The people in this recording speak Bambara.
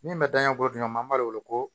Min bɛ dangako dun an b'a wele ko